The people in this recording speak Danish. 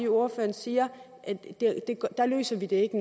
ordføreren siger at der løser vi det ikke